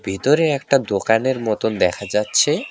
ভিতরে একটা দোকানের মতন দেখা যাচ্ছে।